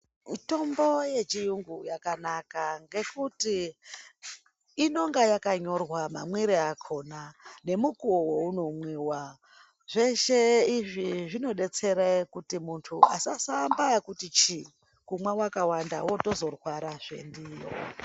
Mitombo yechirungu yakanaka ngekuti inenge yakanyorwa mamwiro akona nemukuwo unomwiwa nekuti zveshe izvi zvinodetsera kuti muntu asaambe nekuti chi kumwa akawanda unozotorwara zvendiyo.